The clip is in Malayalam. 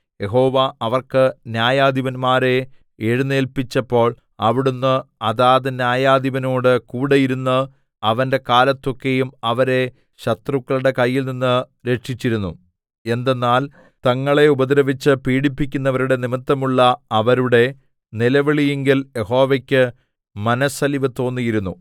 യഹോവ അവർക്ക് ന്യായാധിപന്മാരെ എഴുന്നേല്പിച്ചപ്പോൾ അവിടുന്ന് അതാത് ന്യായാധിപനോടു കൂടെയിരുന്ന് അവന്റെ കാലത്തൊക്കെയും അവരെ ശത്രുക്കളുടെ കയ്യിൽനിന്ന് രക്ഷിച്ചിരുന്നു എന്തെന്നാൽ തങ്ങളെ ഉപദ്രവിച്ച് പീഡിപ്പിക്കുന്നവരുടെ നിമിത്തമുള്ള അവരുടെ നിലവിളിയിങ്കൽ യഹോവക്ക് മനസ്സലിവ്തോന്നിയിരുന്നു